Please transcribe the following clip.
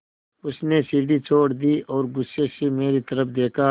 उसने सीढ़ी छोड़ दी और गुस्से से मेरी तरफ़ देखा